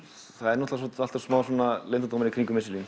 það er alltaf smá leyndardómur í kringum